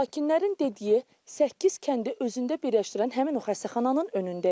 Sakinlərin dediyi, səkkiz kəndi özündə birləşdirən həmin o xəstəxananın önündəyik.